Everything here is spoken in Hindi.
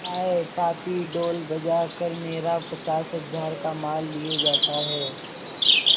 हाय पापी ढोल बजा कर मेरा पचास हजार का माल लिए जाता है